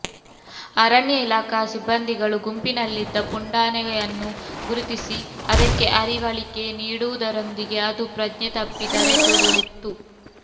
ಅರಣ್ಯ ಇಲಾಖಾ ಸಿಬ್ಬಂದಿಗಳು ಗುಂಪಿನಲ್ಲಿದ್ದ ಪುಂಡಾನೆಯನ್ನು ಗುರುತಿಸಿ ಅದಕ್ಕೆ ಅರಿವಳಿಕೆ ನೀಡುವುದರೊಂದಿಗೆ ಅದು ಪ್ರಜ್ಞೆ ತಪ್ಪಿ ಧರೆಗುರುಳಿತ್ತು